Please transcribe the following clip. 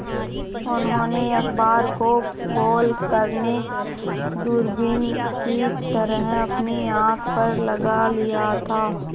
उन्होंने अखबार को गोल करने दूरबीन की तरह अपनी आँख पर लगा लिया था